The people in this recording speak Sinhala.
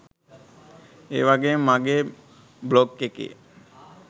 ඒවගේම මගේ බ්ලොග් එකේ